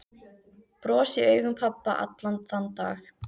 Bros í augum pabba allan þann dag.